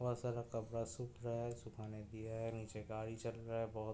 बोहोत सारा कपड़ा सुख रहा है। सुखाने दिया है। नीचे गाड़ी चल रहा है। बोहोत --